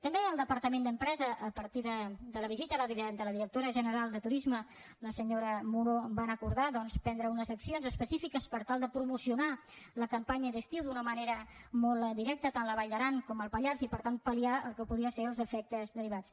també el departament d’empresa a partir de la visita de la directora general de turisme la senyora muro va acordar doncs prendre unes accions específiques per tal de promocionar la campanya d’estiu d’una manera molt directa tant a la vall d’aran com el pallars i per tant paltes derivats